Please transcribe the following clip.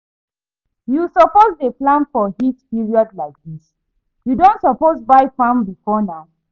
You suppose dey plan for heat period like dis, you don suppose buy fan before now